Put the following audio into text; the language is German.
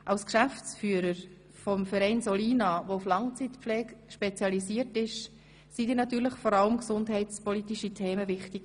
Als Geschäftsführer des Vereins Solina, der auf Langzeitpflege spezialisiert ist, waren dir vor allem gesundheitspolitische Themen wichtig.